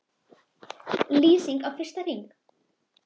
LÝSING Á FYRSTA HRING